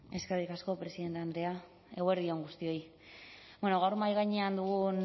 eskerrik asko presidente andrea eguerdi on guztioi gaur mahai gainean dugun